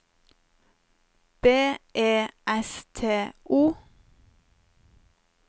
B E S T O